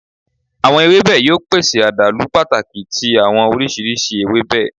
Awọn ewebe yoo pese adalu pataki ti awọn oriṣiriṣi ewebe